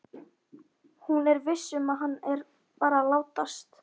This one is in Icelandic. Hún er viss um að hann er bara að látast.